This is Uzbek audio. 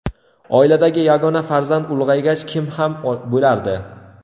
Oiladagi yagona farzand ulg‘aygach kim ham bo‘lardi?